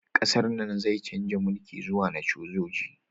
Ƙasar nan zai chanza mulki zuwa na sojoji